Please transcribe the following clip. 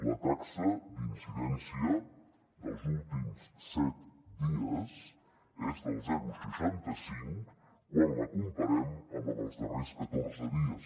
la taxa d’incidència dels últims set dies és del zero coma seixanta cinc quan la comparem amb la dels darrers catorze dies